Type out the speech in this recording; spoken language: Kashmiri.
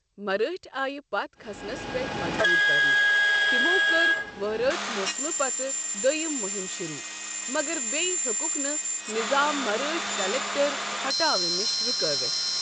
مَرٲٹھۍ آیہ پتھ کھسنس پٮ۪ٹھ مجبوٗر كرنہٕ ، تِمو کٔر وَہرٲژ موسمہٕ پَتہٕ دوٚیم مُہم شُروع، مَگر بییہِ ہِیوكکھ نہٕ نِظام مرٲٹھۍ كلیكٹر ہٹاونہٕ نش رُكٲوِتھ۔